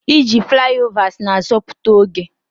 Iji flyovers na-azọpụta oge.